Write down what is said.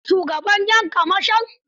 Ka san shugaban 'yan kamashon?